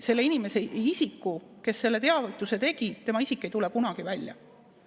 Selle inimese isik, kes selle teavituse tegi, ei tule kunagi välja.